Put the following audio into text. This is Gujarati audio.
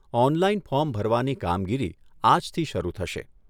ઓનલાઇન ફોર્મ ભરવાની કામગીરી આજથી શરૂ થશે.